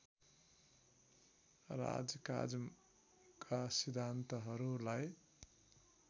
राजकाजका सिद्धान्तहरूलाई